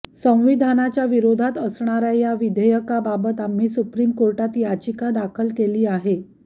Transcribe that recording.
संविधानाच्या विरोधात असणाऱ्या या विधेयकाबाबत आम्ही सुप्रीम कोर्टात याचिका दाखल केली आहे